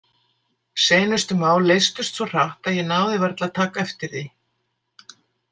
Seinustu mál leystust svo hratt að ég náði varla að taka eftir því.